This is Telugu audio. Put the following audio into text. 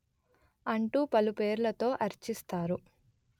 అంటూ పలుపేర్లతో అర్చిస్తారు